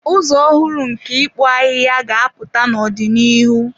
Ụzọ ọhụrụ nke ịkpụ ahịhịa ga-apụta n'ọdịnihu.